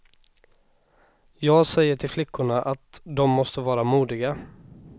Jag säger till flickorna att dom måste vara modiga.